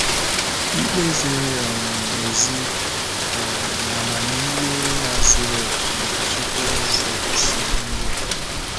Ikpe ziri um ezi um na amamihe ya zuru okè, na - achịkwa ụzọ o si eme ihe.